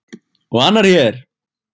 Og annar hér!